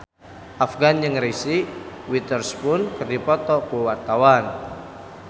Afgan jeung Reese Witherspoon keur dipoto ku wartawan